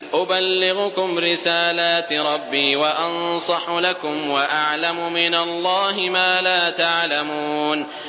أُبَلِّغُكُمْ رِسَالَاتِ رَبِّي وَأَنصَحُ لَكُمْ وَأَعْلَمُ مِنَ اللَّهِ مَا لَا تَعْلَمُونَ